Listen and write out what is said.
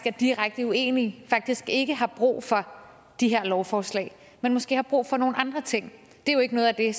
er direkte uenige faktisk ikke har brug for de her lovforslag men måske har brug for nogle andre ting det er jo ikke noget af det